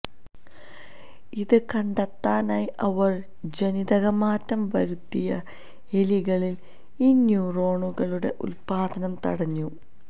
ഇത് കണ്ടെത്താനായി അവര് ജനിതകമാറ്റം വരുത്തിയ എലികളില് ഈ ന്യൂറോണുകളുടെ ഉല്പാദനം തടഞ്ഞു